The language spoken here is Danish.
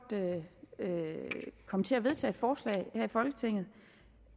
komme til at vedtage forslag her i folketinget